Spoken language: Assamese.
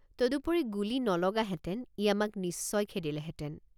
তদুপৰি গুলী নলগাহেঁতেন ই আমাক নিশ্চয় খেদিলেহেঁতেন।